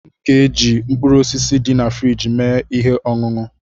M ga-eji mkpụrụ osisi dị na friji mee ihe ọṅụṅụ.